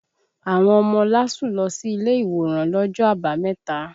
Àwọn ọmọ LASU lọ sí ilé ìwòran lọ́jọ́ Àbámẹ̀ta